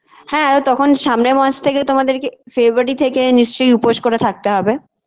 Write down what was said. হ্যাঁ তখন সামনের মাস থেকে তোমাদের কে February থেকে নিশ্চয়ই উপোস করে থাকতে হবে